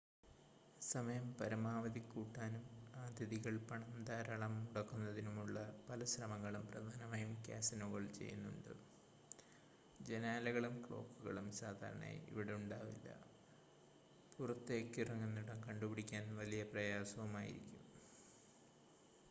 സമയം പരമാവധി കൂട്ടാനും അതിഥികൾ പണം ധാരാളം മുടക്കുന്നതിനുമുള്ള പല ശ്രമങ്ങളും പ്രധാനമായും കാസിനോകൾ ചെയ്യുന്നുണ്ട് ജനാലകളും ക്ലോക്കുകളും സാധാരണയായി ഇവിടുണ്ടാവില്ല പുറത്തേക്കിറങ്ങുന്നിടം കണ്ടുപിടിക്കാൻ വലിയ പ്രയാസവുമായിരിക്കും